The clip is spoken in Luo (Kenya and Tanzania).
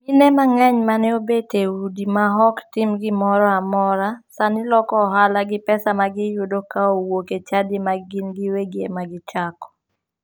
Mine mang'eny mane obet e udi ma ok tim gimoro amora sani loko ohala gi pesa magiyudo ka owuok e chadi ma gin giwegi ema gichako.